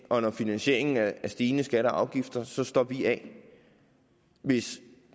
og når finansieringen er stigende skatter og afgifter så står vi af hvis